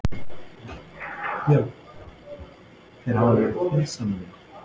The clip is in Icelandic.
Björn: Þeir hafa verið friðsamlegir?